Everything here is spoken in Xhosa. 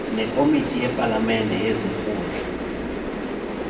nekomiti yepalamente yezikhundla